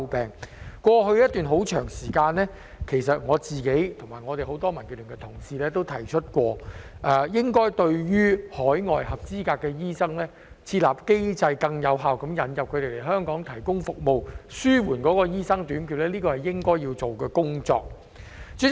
在過去一段很長時間，我和很多民建聯的同事均提出過，應該設立更有效的機制，引入海外的合資格醫生來香港提供服務，以紓緩醫生短缺問題，這是應該要做的工作。